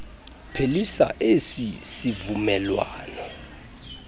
phelisa esi sivumelwano